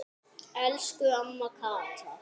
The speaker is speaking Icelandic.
Elsku amma Kata.